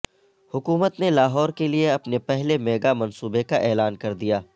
حکومت نے لاہور کیلئے اپنے پہلے میگا منصوبے کا اعلان کردیا